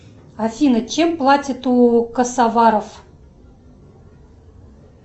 афина чем платят у косоваров